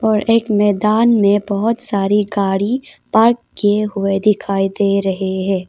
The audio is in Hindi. और एक मैदान में बहुत सारी गाड़ी पार्क किए हुए दिखाई दे रहे हैं।